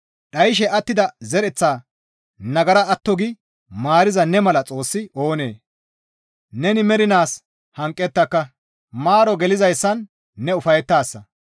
Dhayshe attida zereththaa nagara atto gi maariza ne mala Xoossi oonee? Neni mernaas hanqettaka; maaro gelizayssan ne ufayettaasa.